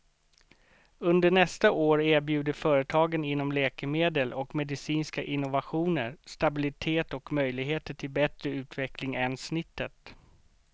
Under nästa år erbjuder företagen inom läkemedel och medicinska innovationer stabilitet och möjligheter till bättre utveckling än snittet.